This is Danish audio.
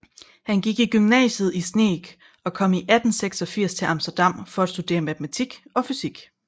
Han gik i gymnasiet i Sneek og kom i 1886 til Amsterdam for at studere matematik og fysik